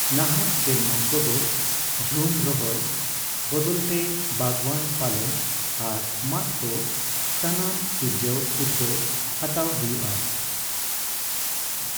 ᱱᱟᱦᱟᱜ ᱥᱮᱨᱢᱟ ᱠᱚᱫᱚ ᱡᱷᱩᱢ ᱨᱚᱦᱚᱭ ᱵᱚᱫᱚᱞ ᱛᱮ ᱵᱟᱜᱽᱣᱟᱱ ᱯᱟᱞᱚᱱ ᱟᱨ ᱢᱟᱫ ᱠᱚ ᱥᱟᱱᱟᱢ ᱥᱤᱨᱡᱟᱣ ᱩᱛᱜᱟᱹᱣ ᱦᱟᱛᱟᱣ ᱦᱚᱭᱩᱜ ᱟ ᱾